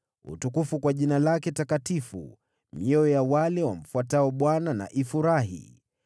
Lishangilieni jina lake takatifu; mioyo ya wale wamtafutao Bwana na ifurahi.